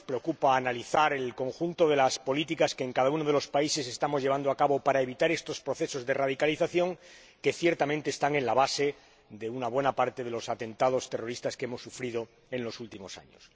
Nos preocupa analizar el conjunto de las políticas que en cada uno de los países estamos llevando a cabo para evitar estos procesos de radicalización, que, ciertamente, están en la base de una buena parte de los atentados terroristas que hemos sufrido en los últimos años.